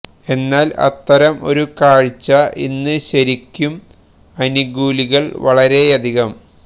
എന്നാൽ അത്തരം ഒരു കാഴ്ച ഇന്ന് ശരിക്കും അനുകൂലികള് വളരെയധികം